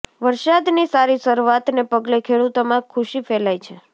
વરસાદની સારી શરૂઆતને પગલે ખેડૂતોમાં ખુશી ફેલાઈ છે